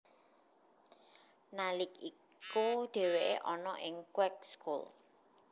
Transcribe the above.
Nalik iku dheweke ana ing Kweekschool